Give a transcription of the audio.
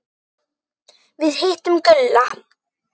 Við hittum Gulla.